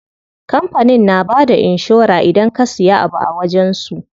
Kampanin na bada inshora idan ka siya abu a wajen su.